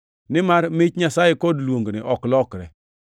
nimar mich Nyasaye kod luongne ok lokre.